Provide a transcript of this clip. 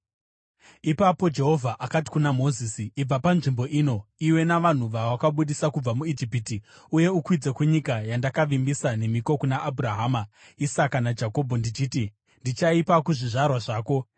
Ipapo Jehovha akati kuna Mozisi, “Ibva panzvimbo ino, iwe navanhu vawakabudisa kubva muIjipiti uye ukwidze kunyika yandakavimbisa nemhiko kuna Abhurahama, Isaka naJakobho ndichiti, ‘Ndichaipa kuzvizvarwa zvako.’